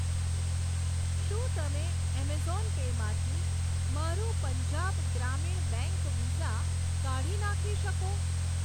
શું તમે Amazon Pay માંથી મારું પંજાબ ગ્રામીણ બેંક વિસા કાઢી નાખી શકો?